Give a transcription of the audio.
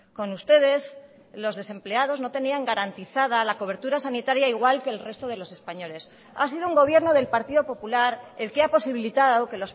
con ustedes los desempleados no tenían garantizada la cobertura sanitaria igual que el resto de los españoles ha sido un gobierno del partido popular el que ha posibilitado que